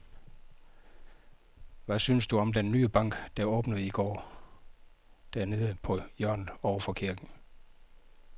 Hvad synes du om den nye bank, der åbnede i går dernede på hjørnet over for kirken?